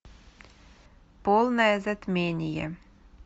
полное затмение